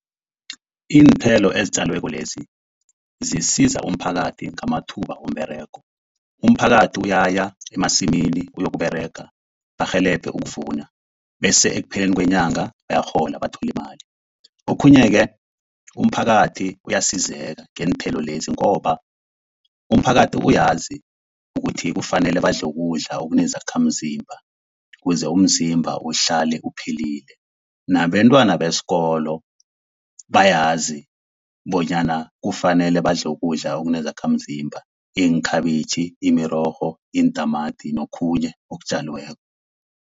Iinthelo ezitjaliweko lezi zisiza umphakathi ngamathuba womberego, umphakathi uyaya emasimini uyokUberega barhelebhe ukuvuna, bese ekupheleni kwenyanga bayarhola bathole imali. Okhunye-ke umphakathi uyasizeka ngeenthelo lezi, ngoba umphakathi uyazi ukuthi kufanele badle ukudla okunezakhamzimba kuze umzimba uhlale uphilile. Nabentwana besikolo bayazi bonyana kufanele badle ukudla okunezakhamzimba iinkhabitjhi, imirorho, iintamati nokhunye okutjaliweko.